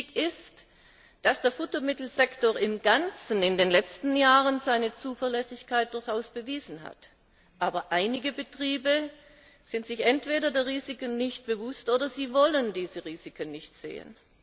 Richtig ist, dass der Futtermittelsektor im Ganzen in den letzten Jahren seine Zuverlässigkeit durchaus bewiesen hat, aber einige Betriebe sind sich entweder der Risiken nicht bewusst, oder sie wollen diese Risiken nicht sehen.